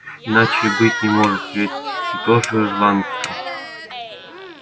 иначе и быть не может ведь ты тоже ирландка